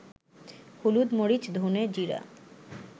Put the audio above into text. হলুদ, মরিচ, ধনে জিরা